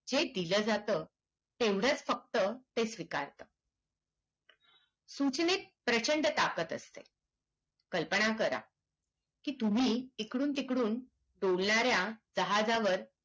हे दिला जात तेवढाच फक्त ते स्वीकारत सूचनेत प्रचंड ताकत असते कल्पना करा की तुम्ही एकडून तिकडून उडणार्‍या जहाजाव